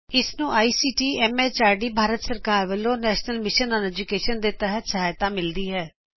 ਇਹ ਭਾਰਤ ਸਰਕਾਰ ਦੇ ਐਮਐਚਆਰਡੀ ਦੇ ਆਈਸੀਟੀ ਦੇ ਦਵਾਰਾ ਰਾਸ਼ਟਰੀ ਐਜੁਕੇਸ਼ਨ ਮਿਸ਼ਨ ਦੇ ਸਹਿਯੋਗ ਨਾਲ ਤਿਆਰ ਕਿਤਾ ਗਿਆ ਹੈ